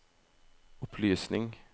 opplysning